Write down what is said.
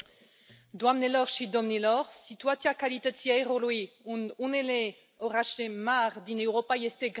Doamnelor și domnilor, situația calității aerului în unele orașe mari din Europa este gravă.